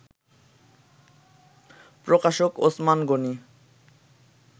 প্রকাশক ওসমান গনি